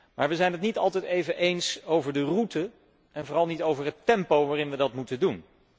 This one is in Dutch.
Maar we zijn het niet altijd even eens over de route, en vooral niet over het tempo waarin we dat moeten doen.